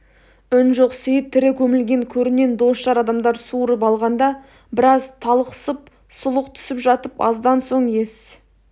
үн жоқ сейіт тірі көмілген көрінен дос-жар адамдар суырып алғанда біраз талықсып сұлық түсіп жатып аздан соң ес